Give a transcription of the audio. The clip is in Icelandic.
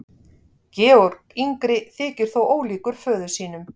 Georg yngri þykir þó ólíkur föður sínum.